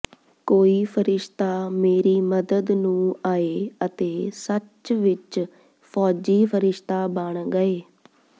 ਕੋਈ ਫਰਿਸ਼ਤਾ ਮੇਰੀ ਮਦਦ ਨੂੰ ਆਏ ਅਤੇ ਸੱਚ ਵਿਚ ਫ਼ੌਜੀ ਫਰਿਸ਼ਤਾ ਬਣ ਗਏ